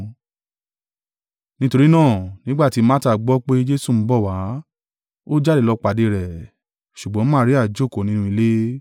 Nítorí náà, nígbà tí Marta gbọ́ pé Jesu ń bọ̀ wá, ó jáde lọ pàdé rẹ̀, ṣùgbọ́n Maria jókòó nínú ilé.